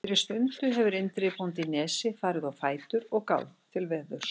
Fyrir stundu hefur Indriði bóndi í Nesi farið á fætur og gáð til veðurs.